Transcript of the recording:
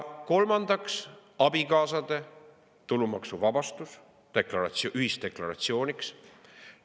Kolmandaks abikaasade tulumaksuvabastus ühisdeklaratsioonis.